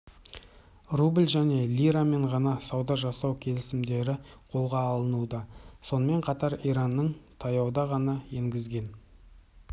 рубль және лирамен ғана сауда жасау келісімдері қолға алынуда сонымен қатар иранның таяуда ғана енгізген